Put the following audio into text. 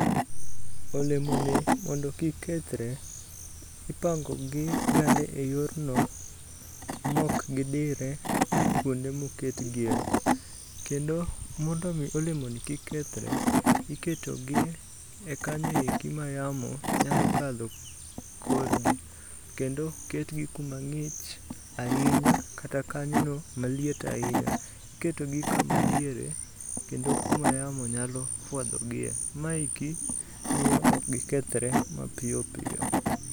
Olemoni mondo kik kethre, ipango gi gane e yorno mok gidire kuonde moket gie, kendo mondo mi olemoni kik kethre, iketogi e kanyo eki ma yamo nyalo kadho korgi. Kendo ok ketgi kuma ng'ich ahinya kata kanyono maliet ahinya. Iketogi kama diere, kendo kuma yamo nyalo fwadho gie, maeki miyo ok gikethre mapiyo piyo.